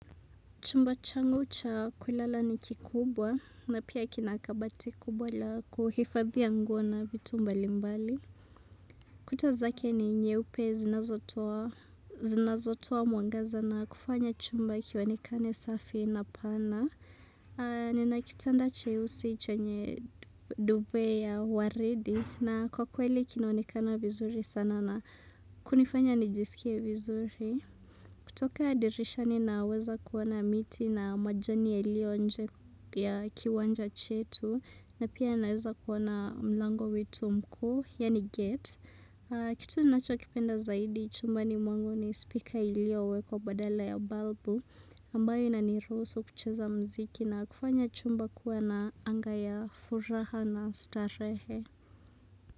Chumba changu cha kulala ni kikubwa na pia kina kabati kubwa la kuhifadhia nguo na vitu mbali mbali. Kutaczake ni nyeupe zinazotoa mwangaza na kufanya chumba kionekane safi na pana. Nina kitanda cheusi chenye duvet ya waridi na kwa kweli kinaonekana vizuri sana na kunifanya nijisikie vizuri. Kutoka ya dirisha ninaweza kuona miti na majani yaliyo nje ya kiwanja chetu na pia naweza kuona mlango wetu mkuu ya ni geti. Kitu nacho kipenda zaidi chumbani mwangu ni speaker iliyowekwa badala ya balbu ambayo inanirusu kucheza mziki na kufanya chumba kuwa na anga ya furaha na starehe.